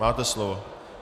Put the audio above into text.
Máte slovo.